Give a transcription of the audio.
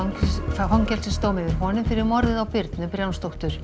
fangelsisdóm yfir honum fyrir morðið á Birnu